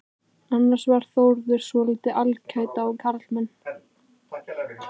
Annars var Þórður svotil alæta á karlmenn.